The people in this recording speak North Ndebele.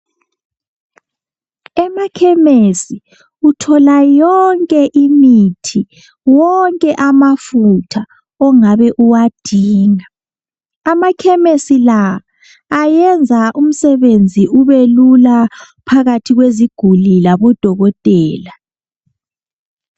Emakhemesi uthola yonke imithi, wonke amafutha ongabe uwadinga. Amakhemisi la ayenza umsebenzi ube lula phakathi kweziguli labodokotela.